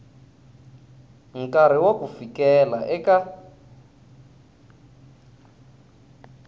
nkarhi wa ku fikela eka